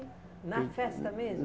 Na festa mesmo?